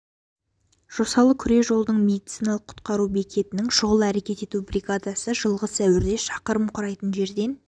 жосалы күре жолдық медициналық құтқару бекетінің шұғыл әрекет ету бригадасы жылғы сәуірде шақырым құрайтын жерден